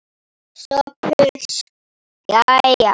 SOPHUS: Jæja!